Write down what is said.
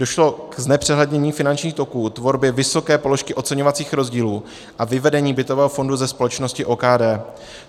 Došlo k znepřehlednění finančních toků, tvorbě vysoké položky oceňovacích rozdílů a vyvedení bytového fondu ze společnosti OKD.